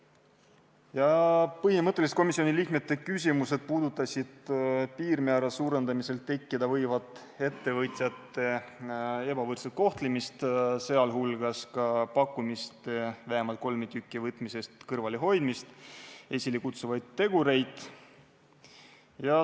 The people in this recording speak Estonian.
Põhimõtteliselt puudutasid komisjoni liikmete küsimused piirmäära suurendamisel tekkida võivat ettevõtjate ebavõrdset kohtlemist, sh pakkumist vähemalt kolme tüki võtmisest kõrvalehoidmist esilekutsuvaid tegureid.